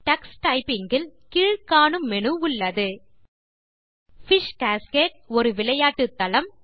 Tux Typing இல் கீழ் காணும் மெனு உள்ளது பிஷ் காஸ்கேடு - ஒரு விளையாட்டு தளம்